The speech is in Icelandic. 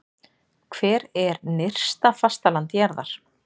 Hvar er nyrsta fastaland jarðar?